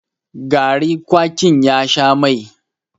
gari kwakin ya Sha Mai